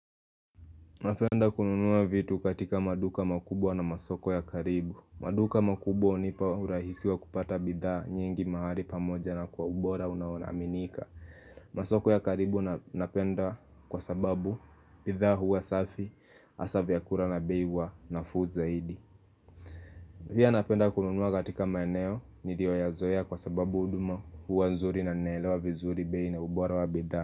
Napenda kununua vitu katika maduka makubwa na masoko ya karibu maduka makubwa hunipa urahisi wa kupata bidhaa nyingi mahali pamoja na kwa ubora unaonaminika masoko ya karibu napenda kwa sababu bidhaa huwa safi asa vyakura na bei huwa nafuu zaidi pia napenda kununua katika maeneo niliyo yazoea kwa sababu huduma huwa nzuri na nelewa vizuri bei na ubora wa bidhaa.